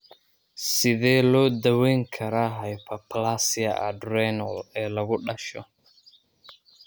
Sidee loo daweyn karaa hyperplasia adrenal ee lagu dhasho?